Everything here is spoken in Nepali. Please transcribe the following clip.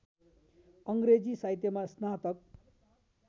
अङ्ग्रेजी साहित्यमा स्नातक